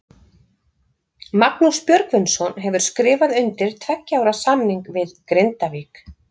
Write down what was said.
Magnús Björgvinsson hefur skrifað undir tveggja ára samning við Grindavík.